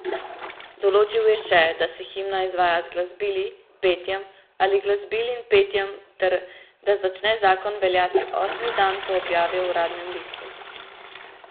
Določil je še, da se himna izvaja z glasbili, petjem ali glasbili in petjem ter da začne zakon veljati osmi dan po objavi v uradnem listu.